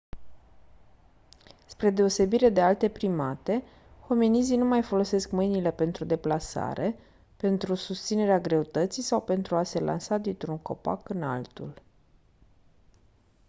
spre deosebire de alte primate hominizii nu mai folosesc mâinile pentru deplasare pentru susținerea greutății sau pentru a se lansa dintr-un copac în altul